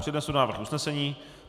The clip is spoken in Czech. Přednesu návrh usnesení.